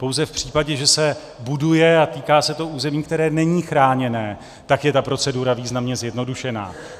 Pouze v případě, že se buduje, a týká se to území, které není chráněné, tak je ta procedura významně zjednodušená.